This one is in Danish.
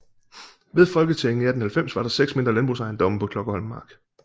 Ved folketællingen i 1890 var der 6 mindre landbrugsejendomme på Klokkerholm Mark